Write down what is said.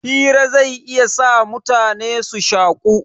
Hira zai iya sa mutane su shaku